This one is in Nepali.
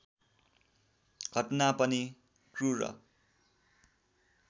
घटना पनि क्रूर